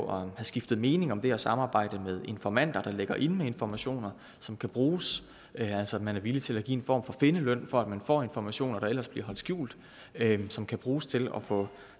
og har skiftet mening om det her samarbejde med informanter der ligger inde med informationer som kan bruges altså at man er villig til at give en form for findeløn for at man får informationer der ellers bliver holdt skjult som kan bruges til at få